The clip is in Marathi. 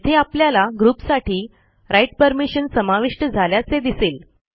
येथे आपल्याला ग्रुपसाठी राइट परमिशन समाविष्ट झाल्याचे दिसेल